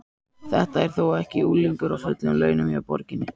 Þetta er þó ekki unglingur á fullum launum hjá borginni?